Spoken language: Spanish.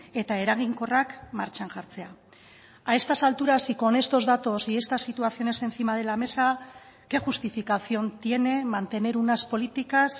eta eraginkorrak martxan jartzea a estas alturas y con estos datos y estas situaciones encima de la mesa qué justificación tiene mantener unas políticas